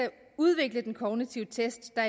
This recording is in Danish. udvikle den kognitive test der